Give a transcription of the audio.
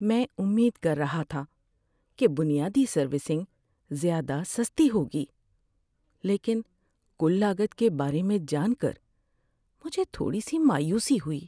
میں امید کر رہا تھا کہ بنیادی سروسنگ زیادہ سستی ہوگی لیکن کُل لاگت کے بارے میں جان کر مجھے تھوڑی سی مایوسی ہوئی۔